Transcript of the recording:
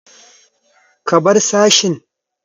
Ka bar sashin!